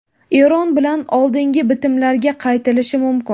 Eron bilan oldingi bitimlarga qaytilishi mumkin.